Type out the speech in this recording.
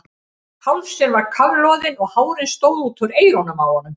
Hálsinn var kafloðinn og hárin stóðu út úr eyrunum á honum.